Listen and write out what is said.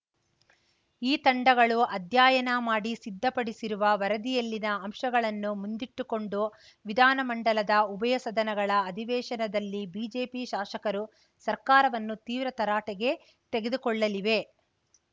ಈ ತಂಡಗಳು ಅಧ್ಯಯನ ಮಾಡಿ ಸಿದ್ಧಪಡಿಸಿರುವ ವರದಿಯಲ್ಲಿನ ಅಂಶಗಳನ್ನು ಮುಂದಿಟ್ಟುಕೊಂಡು ವಿಧಾನಮಂಡಲದ ಉಭಯ ಸದನಗಳ ಅಧಿವೇಶನದಲ್ಲಿ ಬಿಜೆಪಿ ಶಾಸಕರು ಸರ್ಕಾರವನ್ನು ತೀವ್ರ ತರಾಟೆಗೆ ತೆಗೆದುಕೊಳ್ಳಲಿವೆ